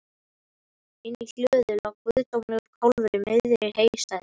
Inni í hlöðu lá guðdómlegur kálfur í miðri heystæðunni.